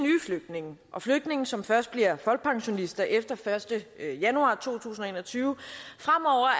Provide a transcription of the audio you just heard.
flygtninge og flygtninge som først bliver folkepensionister efter den første januar to tusind og en og tyve